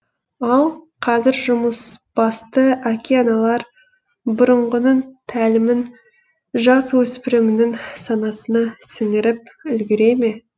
ал қазір жұмысбасты әке аналар бұрынғының тәлімін жасөспірімнің санасына сіңіріп үлгере ме